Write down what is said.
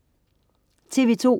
TV2: